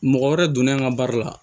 Mɔgɔ wɛrɛ donnen an ka baara la